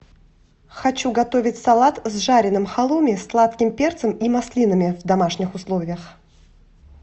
хочу готовить салат с жареным халуми сладким перцем и маслинами в домашних условиях